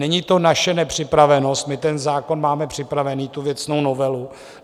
Není to naše nepřipravenost, my ten zákon máme připravený, tu věcnou novelu.